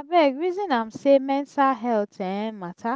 abeg resin am sey mental healt um mata